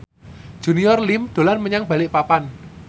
Junior Liem dolan menyang Balikpapan